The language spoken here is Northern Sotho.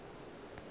e be e le la